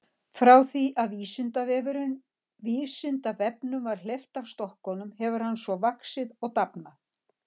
Frá því að Vísindavefnum var hleypt af stokkunum hefur hann svo vaxið og dafnað.